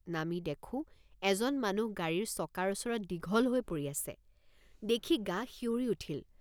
নামি দেখোঁ এজন মানুহ গাড়ীৰ চকাৰ ওচৰত দীঘল হৈ পৰি আছে দেখি গা শিয়ঁৰি উঠিল।